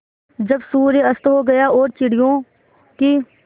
जब सूर्य अस्त हो गया और चिड़ियों की